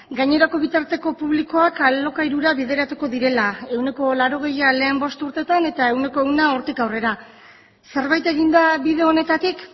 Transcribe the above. gainerako bitarteko publikoak alokairura bideratuko direla ehuneko laurogeia lehen bost urtetan eta ehuneko ehuna hortik aurrera zerbait egin da bide honetatik